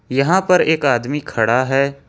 यहां पर एक आदमी खड़ा है।